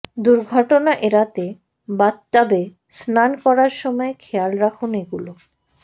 দুর্ঘটনা এড়াতে বাথটবে স্নান করার সময় খেয়াল রাখুন এগুলো